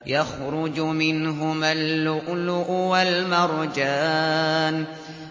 يَخْرُجُ مِنْهُمَا اللُّؤْلُؤُ وَالْمَرْجَانُ